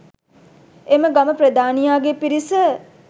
එම ගම ප්‍රධානියාගේ පිරිස